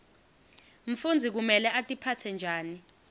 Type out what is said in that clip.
mfundzi kumele atiphatse njani